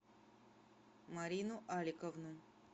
марину аликовну